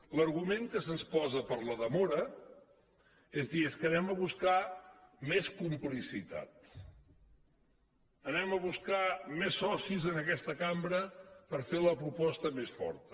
l’argument que se’ns posa per a la demora és dir és que anem a buscar més complicitat anem a buscar més socis en aquesta cambra per fer la proposta més forta